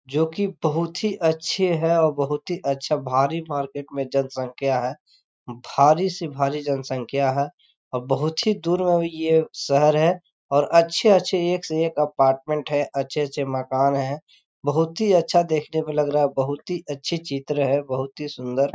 जो की बहुत ही अच्छे हैं और बहुत ही अच्छा भारी मार्किट में जनसँख्या है भारी से भारी जनसँख्या है और बहुत ही दूर शहर है और अच्छे-अच्छे एक से एक अपार्टमेन है अच्छे-अच्छे मकान है बहुत ही अच्छा देखने में लग रहा है बहुत ही अच्छी चित्र है बहुत ही सुन्दर--